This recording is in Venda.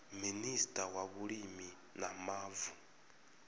minista wa vhulimi na mavu